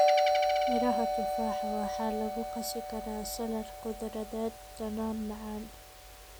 Miraha tufaaxa waxaa lagu qasi karaa salad khudradeed dhadhan macaan.